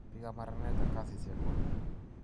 Piik ap maranet ak kasisyek kwa.